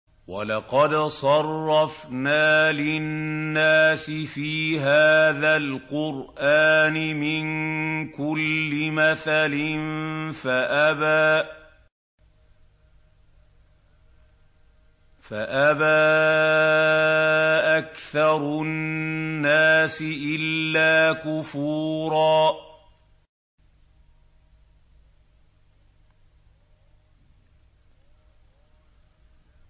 وَلَقَدْ صَرَّفْنَا لِلنَّاسِ فِي هَٰذَا الْقُرْآنِ مِن كُلِّ مَثَلٍ فَأَبَىٰ أَكْثَرُ النَّاسِ إِلَّا كُفُورًا